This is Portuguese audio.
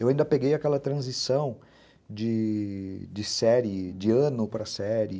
Eu ainda peguei aquela transição de série, de ano para série.